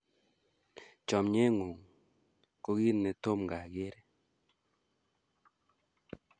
Chomye ng'ung' ko kit ne tomkai akere